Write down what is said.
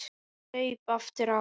Ég saup aftur á.